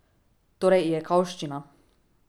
Torej ijekavščina.